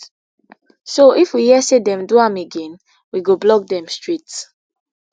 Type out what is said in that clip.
so if we hear say dem do am again we go block dem straight